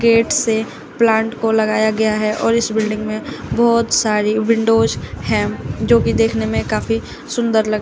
gate से plant को लगाया गया है और इस बिल्डिंग में बहोत सारी विंडोज हैं जो की देखने में काफी सुन्दर लग रही--